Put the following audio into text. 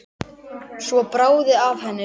Svo bráði af henni.